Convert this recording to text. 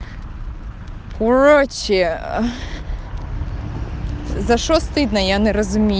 короче за что стыдно я не разуми